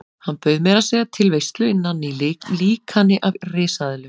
Hann bauð meira að segja til veislu innan í líkani af risaeðlu.